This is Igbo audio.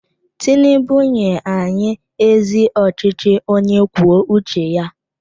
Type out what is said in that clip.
Tinubu nye anyị ezi ọchịchị onye kwuo uche ya!